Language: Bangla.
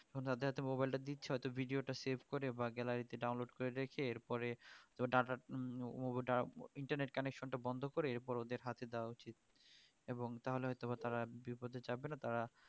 আমরা তদের হাতে মোবাইল টা দিচ্ছি হয়ত video টা save করে বা gallery তে download করে রেখে এরপরে ডাটা টা internet connection টা বন্ধ করে এরপর ওদের হাতে দেওয়া উচিত এবং তাহলে হয়ত বা তারা বিপথে যাবেনা তারা